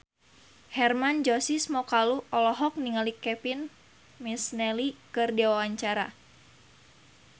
Hermann Josis Mokalu olohok ningali Kevin McNally keur diwawancara